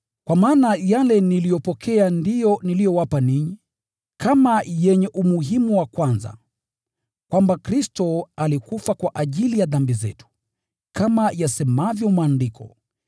Kwa maana yale niliyopokea ndiyo niliyowapa ninyi, kama yenye umuhimu wa kwanza: Kwamba Kristo alikufa kwa ajili ya dhambi zetu, kama yasemavyo Maandiko,